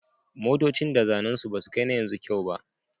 Motocin da zannen su basu kai na yanzu kyau ba